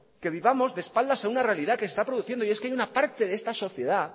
que vivamos de espaldas a una realidad que se está produciendo y es que hay una parte de esta sociedad